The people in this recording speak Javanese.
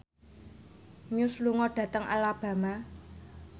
Muse lunga dhateng Alabama